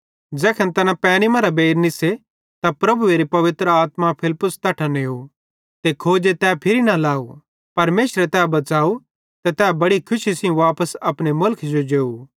ज़ैखन तैना पैनी मरां बेइर निस्से त प्रभुएरी पवित्र आत्मा फिलिप्पुस तैट्ठां नेव ते खोजे तै फिरी न लाव परमेशरे तै बच़ाव ते तै बड़ी खुशी सेइं वापस अपने मुलखे जो जेव